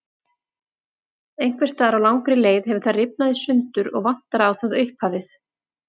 Einhvers staðar á langri leið hefur það rifnað í sundur og vantar á það upphafið.